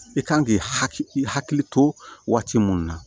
I kan k'i hakili to waati munnu na